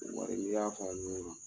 Wari n'i y'a fara ɲɔgɔn kan